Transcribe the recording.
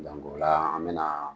Minɛn kola an bɛ na